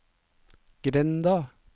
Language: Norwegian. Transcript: grenda